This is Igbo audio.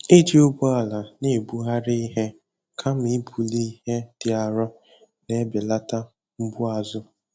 Iji ụgbọala na-ebugharị ihe kama ibuli ihe dị arọ na-ebelata mgbu azụ.